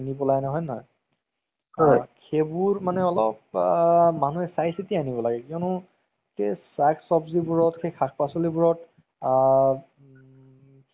প্ৰায় ভাগ চালে মানে কিবা mobile ত এহ মহাভাৰত, তাৰ পাছত ৰামায়ন সেই বিলাক মোৰ বহুত ভাল লাগে। আৰু মানে যোন টো serial movi serial কেইটা যে